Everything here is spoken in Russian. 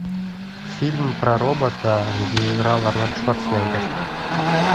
фильм про робота где играл арнольд шварценеггер